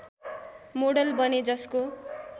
model बने जसको